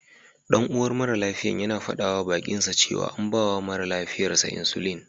Ɗan'uwan mara lafiyar yana faɗawa baƙinsa cewa an bawa mara lafiyar sa insulin.